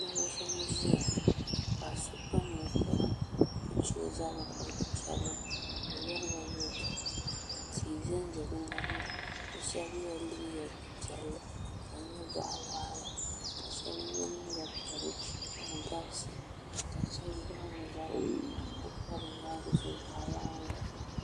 Bihi n ʒinʒiya ka paɣisɔ kpa ninkpara ka ɔzabri kuli chebri ka ɔcyariba yatɔɣa bɛ shabi ye la liiga piɛli ka di nyɛ bɔɣi waɣila. ka shabi ye liiga piɛli ka di gabi di ka shabi niŋ bɛ zabiri kadi ku pa bɛ nyaaŋa zuɣu.